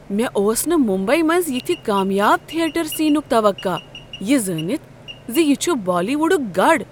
مےٚ اوس نہٕ ممبیی منٛز یتھۍ کامیاب تھیٹر سینک توقع یہ زٲنتھ ز یہ چھ بالی ووڈک گڑ۔